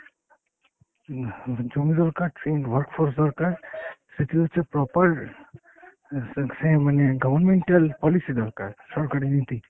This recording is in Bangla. উম জমি দরকার, trained work force দরকার, সেটি হচ্ছে proper অ্যাঁ সে সে মানে governmental policy দরকার, সরকারি নীতি।